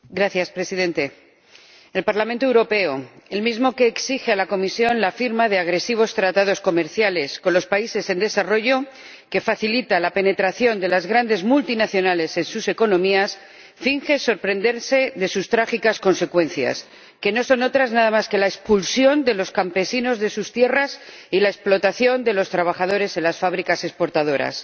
Señor Presidente, el Parlamento Europeo, el mismo que exige a la Comisión la firma de agresivos tratados comerciales con los países en desarrollo, que facilita la penetración de las grandes multinacionales en sus economías, finge sorprenderse de sus trágicas consecuencias, que no son otras nada más que la expulsión de los campesinos de sus tierras y la explotación de los trabajadores en las fábricas exportadoras.